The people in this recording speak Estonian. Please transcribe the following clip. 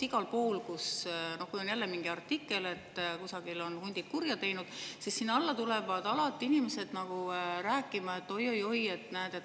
Igale poole, kus on mingi artikkel seoses hunditeemaga, sellest, et kusagil on hundid kurja teinud, tulevad inimesed alati rääkima: "Oi-oi-oi, näed, kurjad jahimehed!"